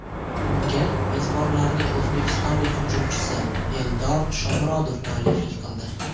Unga mezbonlarning o‘zbekistonlik hujumchisi Eldor Shomurodov mualliflik qildi.